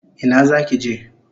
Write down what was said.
Ina zaki je?